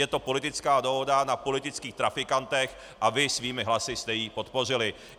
Je to politická dohoda na politických trafikantech a vy svými hlasy jste ji podpořili.